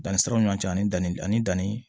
Danni siraw ni ɲɔgɔn cɛ ani danni ani danni